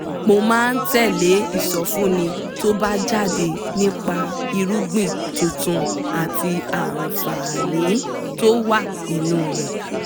mo máa tẹ̀ lé ìsọfúnni tó bá jáde nípa irúgbìn tuntun àti àǹfààní tó wà nínú rẹ̀